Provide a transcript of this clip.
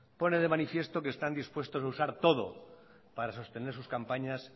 pone de manifiesto que están dispuestos a usar todo para sostener sus campañas